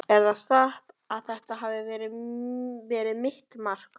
Er það satt að þetta hafi verið mitt mark?